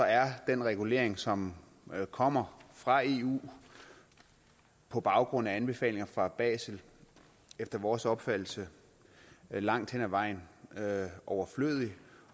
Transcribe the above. er den regulering som kommer fra eu på baggrund af anbefalinger fra basel efter vores opfattelse langt hen ad vejen overflødig